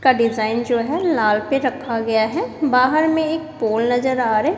का डिजाइन जो है लाल पे रखा गया है बाहर में एक पोल नजर आ रहे--